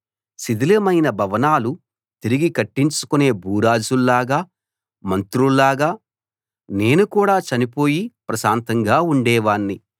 శిథిలమైపోయిన భవనాలు తిరిగి కట్టించుకునే భూరాజుల్లాగా మంత్రుల్లాగా నేను కూడా చనిపోయి ప్రశాంతంగా ఉండేవాణ్ణి